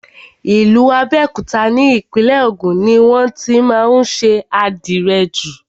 Ìlú Abẹ́òkúta ni Ìpínlẹ̀ Ògùn ni wọ́n tí má ń ṣe àdìrẹ jù.